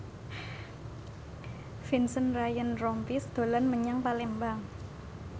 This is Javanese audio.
Vincent Ryan Rompies dolan menyang Palembang